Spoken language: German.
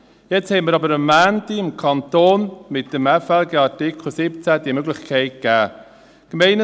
Jetzt haben wir aber am Montag dem Kanton mit dem FLG-Artikel 17 diese Möglichkeit gegeben.